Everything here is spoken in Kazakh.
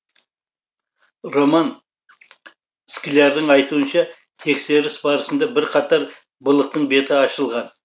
роман склярдың айтуынша тексеріс барысында бірқатар былықтың беті ашылған